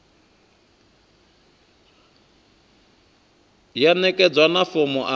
ya ṋekedzwa na fomo a